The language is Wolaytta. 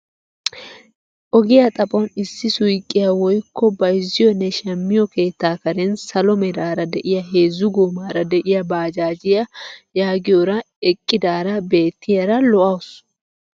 Ogiyaa xaphon issi suyqiyaa woykko bayzziyoonne shammiyoo keettaa karen salo meraara de'iyaa heezzu goomara de'iyaa bajaajiyaa yaagiyoora eqqidaara bettiyaara lo"awus!